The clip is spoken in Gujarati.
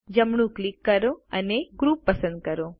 જમણું ક્લિક કરો અને ગ્રુપ પસંદ કરો